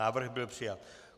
Návrh byl přijat.